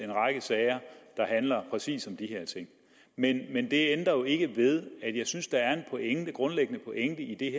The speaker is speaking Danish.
en række sager der handler præcis om de her ting men det ændrer jo ikke ved at jeg synes der er en grundlæggende pointe i det